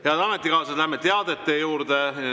Head ametikaaslased, läheme teadete juurde.